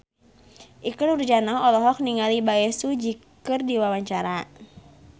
Ikke Nurjanah olohok ningali Bae Su Ji keur diwawancara